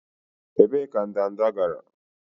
Ebee ka ndanda gara?